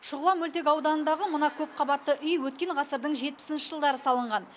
шұғыла мөлтек ауданындағы мына көпқабатты үй өткен ғасырдың жетпісінші жылдары салынған